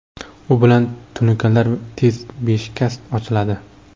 U bilan tunukalar tez va beshikast ochiladi.